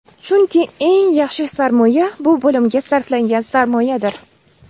Chunki eng yaxshi sarmoya bu bilimga sarflangan sarmoyadir!